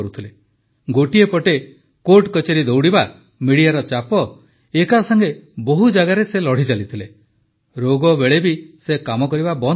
ଗୋଟିଏ ପଟେ କୋର୍ଟକଚେରୀର ଚକ୍କର ମିଡିଆର ଚାପ ଏକାସାଂଗେ ବହୁ ଜାଗାରେ ସେ ଲଢ଼ିଚାଲିଥିଲେ ରୋଗ ବେଳେ ସେ କାମ କରିବା ବନ୍ଦ କରିନଥିଲେ